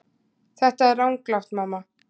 Þetta er ranglátt mamma.